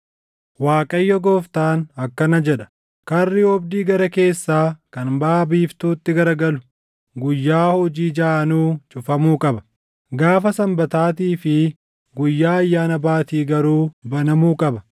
“‘ Waaqayyo Gooftaan akkana jedha: Karri oobdii gara keessaa kan baʼa biiftuutti garagalu guyyaa hojii jaʼanuu cufamuu qaba; gaafa Sanbataatii fi guyyaa Ayyaana Baatii garuu banamuu qaba.